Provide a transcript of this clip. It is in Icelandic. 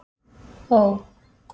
Ó